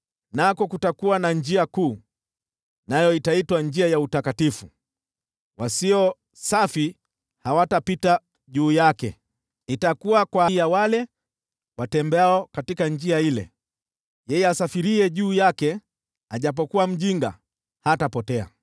Nako kutakuwa na njia kuu, nayo itaitwa Njia ya Utakatifu. Wasio safi hawatapita juu yake; itakuwa ya wale watembeao katika Njia ile; yeye asafiriye juu yake, ajapokuwa mjinga, hatapotea.